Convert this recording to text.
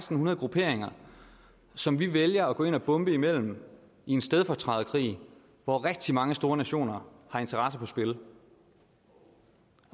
hundrede grupperinger som vi vælger at gå ind og bombe iblandt i en stedfortræderkrig hvor rigtig mange store nationer har interesser på spil